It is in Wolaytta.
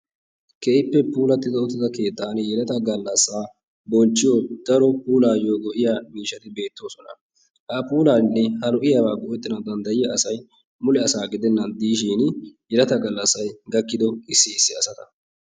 keehippe puulati uttida sohuwanni yeleta galasaa bonchiyo miishshati de'oosona. ha puulabaynne ha lo'iyabay go'iyoy yeleta galassay gakkido issi issi asata.